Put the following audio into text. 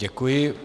Děkuji.